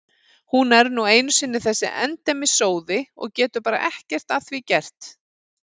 Hún er nú einu sinni þessi endemis sóði og getur bara ekki að því gert.